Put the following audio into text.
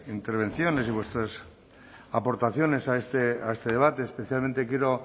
intervenciones y vuestras aportaciones a este debate especialmente quiero